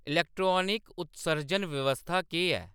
electronic उत्सर्जन व्यवस्था केह्‌‌ ऐ